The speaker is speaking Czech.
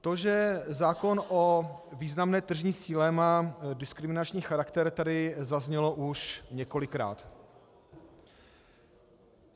To, že zákon o významné tržní síle má diskriminační charakter, tady zaznělo už několikrát.